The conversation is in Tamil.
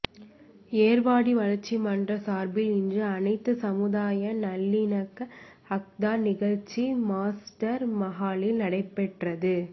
ஏர்வாடி வளர்ச்சி மன்றம் சார்பில் இன்று அனைத்து சமுதாய நல்லிணக்க இஃப்தார் நிகழ்ச்சி மாஸ்டர் மஹாலில் நடைபெற்றது